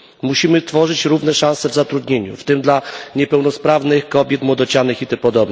Musimy tworzyć równe szanse w zatrudnieniu, w tym dla osób niepełnosprawnych, kobiet, młodocianych itp.